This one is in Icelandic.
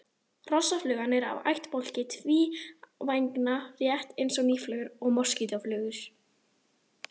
Hrossaflugan er af ættbálki tvívængna rétt eins og mýflugur og moskítóflugur.